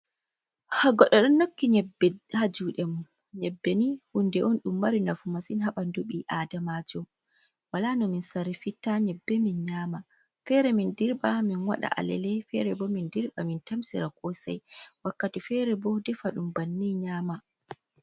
Goɗɗo ɗo nokki nyebbe ha juɗe. Nyebbe ni hunde on ɗum mari nafu masin ha ɓandu ɓi Adamajo. Wala no min sarifitta nyebbe min nyama. Fere min dirɓa min waɗa alele, fere bo min dirɓa min tamsira kosai, wakkati fere bo defa ɗum banni nyama.